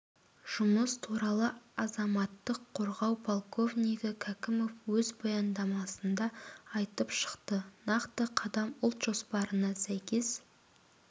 жұмыс туралы азаматтық қорғау полковнигі кәкімов өз баяндамасында айтып шықты нақты қадам ұлт жоспарына сәйкес